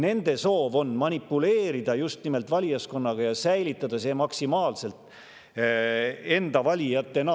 Nende soov on manipuleerida just nimelt valijaskonnaga ja säilitada see maksimaalselt enda valijatena.